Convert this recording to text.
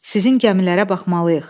Sizin gəmilərə baxmalıyıq.